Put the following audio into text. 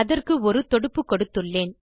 அதற்கு ஒரு தொடுப்பு கொடுத்துள்ளேன்